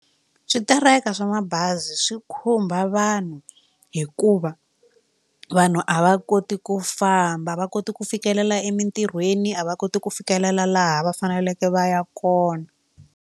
Switereka swa mabazi swi khumba vanhu hikuva vanhu a va koti ku famba va koti ku fikelela emitirhweni a va koti ku fikelela laha va faneleke va ya kona.